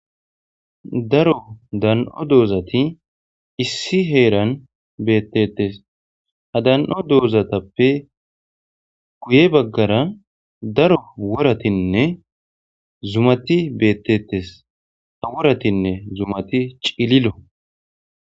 Daro dan77o doozati issi heeran beettettes. Ha dan7o doozatappe guye baggara daro woratinne zumati beeteettes. Ha woratinne zumati cililo.